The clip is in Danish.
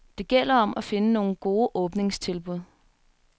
Det gælder om at finde nogle gode åbningstilbud.